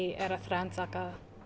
er að rannsaka